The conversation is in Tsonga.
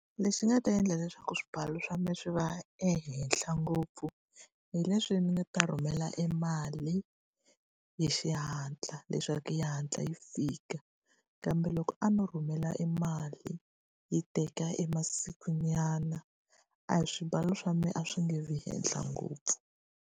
Lexi nga ta endla leswaku swibalo swa mina swi va ehenhla ngopfu, hi leswi ni nga ta rhumela e mali hi xihatla leswaku yi hatla yi yi fika. Kambe loko a no rhumela e mali yi teka e masikunyana, a hi swibalo swa mina a swi nge vi ehenhla ngopfu.